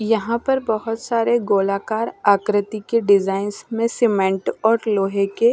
यहां पर बहुत सारे गोलाकार आकृति के डिजाइंस में सीमेंट और लोहे के--